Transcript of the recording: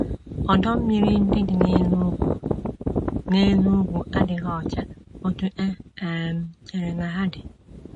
Ọdọ mmiri ndị dị n’elu ugwu n’elu ugwu adịghị ọcha otú e um chere na ha dị.